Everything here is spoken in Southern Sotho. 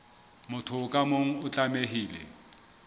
motho ka mong o tlamehile